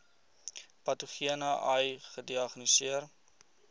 patogene ai gediagnoseer